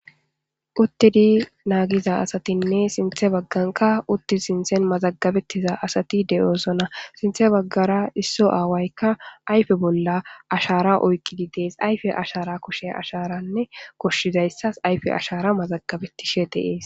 uttidi naagiza asatinne sinthe bagganka uttid sinthen mazagabettiza asati de7oosona sinthe baggara isso aawaykka ayfe bolla ashara oykqidi dees ayfe ashara kushe asharanne koshshizayssas ayfe ashara mazagabettishe deees